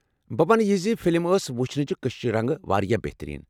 بہٕ ونہٕ یہِ زِ فلم ٲس وُچھنہٕ چہِ كشِشہِ رنگہِ واریاہ بہترین ۔